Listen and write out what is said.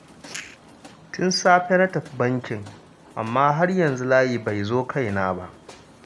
Tun safe na tafi bankin, amma har yanzu layi bai zo kaina ba